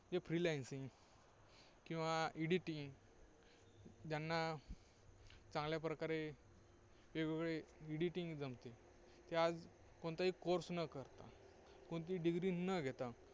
जे freelancing किंवा Editing ज्यांना चांगल्या प्रकारे वेगवेगळे Editing जमते ते आज कोणताही course न करता, कोणतीही Degree न घेता,